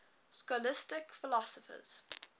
scholastic philosophers